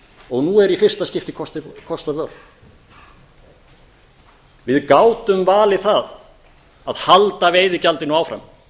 og nú er í fyrsta skipti kosta völ við gátum valið það að halda veiðigjaldinu áfram